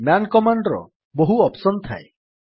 man command ର ବହୁ option ଥାଏ